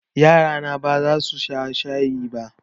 Yarana ba za su sha shayi ba.